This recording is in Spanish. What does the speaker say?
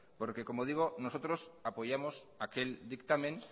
porque nosotros apoyamos aquel dictamen